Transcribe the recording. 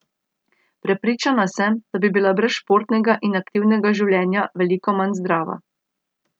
Prepričana sem, da bi bila brez športnega in aktivnega življenja veliko manj zdrava.